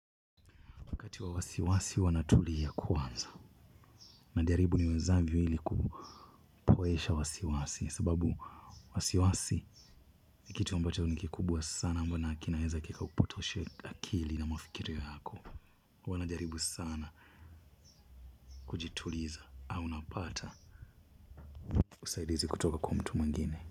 Wakati wa wasiwasi huwa natulia kwanza. Najaribu niwezavyo ili kupoesha wasiwasi. Sababu wasiwasi ni kitu ambacho ni kikubwa sana ambao nina hakika kinaweza kikakupotoshea akili na mafikirio yako. Huwa najaribu sana kujituliza au napata. Usaidizi kutoka kwa mtu mwengine.